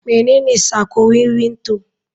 Menene sako wiwin to?